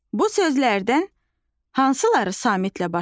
Bu sözlərdən hansıları samitlə başlayır?